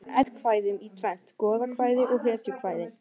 Hefð er fyrir því að skipta eddukvæðum í tvennt: goðakvæði hetjukvæði